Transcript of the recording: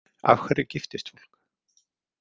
Af hverju giftist fólk?